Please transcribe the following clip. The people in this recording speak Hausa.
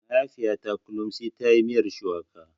Mahaifiyata kullum sai tayi miyar shuwaka.